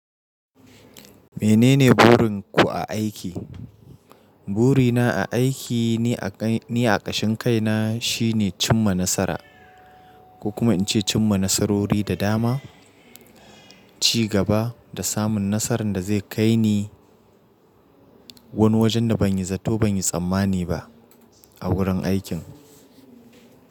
Menene burin ku a aiki? Burina a aiki ni a ƙashin kaina shine cimma nasara, ko kuma in ce cimma nasarori da dama, ci gaba da samun nasarar da zai kai ni wani wajen da ban yi zato ban yi tsammani ba a wurin aikin.